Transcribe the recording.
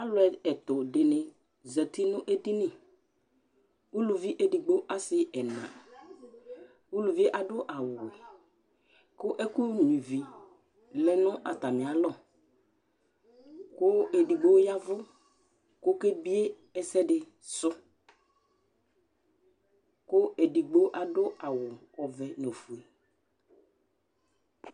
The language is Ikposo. Alu ɛtu ɖíni zɛti ŋu ɛɖìní Ʋlʋvi ɛɖigbo, ɔsi ɛna Ʋlʋvie aɖu awu wɛ kʋ ɛku nyʋivi lɛ ŋu atamì alɔ kʋ ɛɖigbo ya avu kʋ ɔkebie ɛsɛɖi sʋ kʋ ɛɖigbo aɖu awu ɔvɛ ŋu ɔfʋe